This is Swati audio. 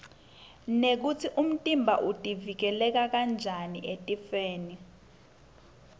nekutsi umtimba utiuikela njani etifwoni